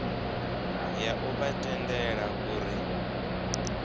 ya u vha tendela uri